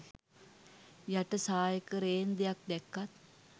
යට සායක රේන්දයක් දැක්කත්